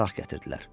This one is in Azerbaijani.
Araq gətirdilər.